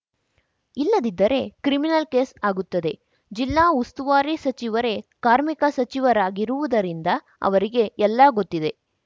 ಇಲ್ಲದಿದ್ದರೆ criminal case ಆಗುತ್ತದೆ ಜಿಲ್ಲಾ ಉಸ್ತುವಾರಿ ಸಚಿವರೇ ಕಾರ್ಮಿಕ ಸಚಿವರಾಗಿರುವುದರಿಂದ ಅವರಿಗೆ ಎಲ್ಲ ಗೊತ್ತಿದೆ